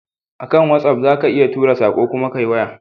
A kan watsaf za ka iya tura sako kuma Ka yi waya